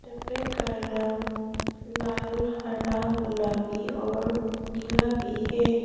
का रंग लाल हरा गुलाबी और नीला भी है।